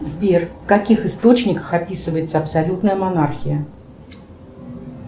сбер в каких источниках описывается абсолютная монархия